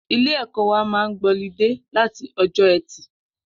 Ilé ẹkọ wà mà gbọlìdé làtí ọjọ ẹti